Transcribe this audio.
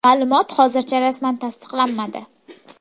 Ma’lumot hozircha rasman tasdiqlanmadi.